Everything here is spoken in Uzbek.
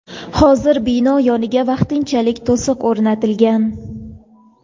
Hozir bino yoniga vaqtinchalik to‘siq o‘rnatilgan.